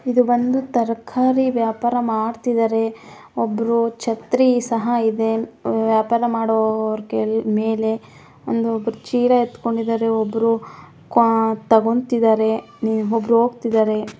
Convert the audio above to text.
ಇದು ಬಂದು ತರಕಾರಿ ವ್ಯಾಪಾರ ಮಾಡ್ತಿದಾರೆ ಒಬ್ಬರು ಛತ್ರಿ ಸಹಾ ಇದೆ ವ್ಯಾಪಾರ ಮಾಡುವವರಮೇಲೆ ಒಂದು ಚಿಲಾ ಎತ್ತ್ಕೊಂಡಿದಾರೆ ಒಬ್ಬ್ರು ತೊಗೊಂತಿದಾರೆ ಒಬ್ಬ್ರು ಹೋಗ್ತಿದಾರೆ --